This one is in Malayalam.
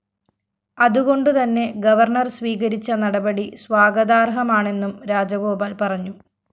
അതുകൊണ്ടുതന്നെ ഗവർണർ സ്വീകരിച്ച നടപടി സ്വാഗതാര്‍ഹമാണെന്നും രാജഗോപാല്‍ പറഞ്ഞു